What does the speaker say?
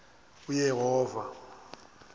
uyehova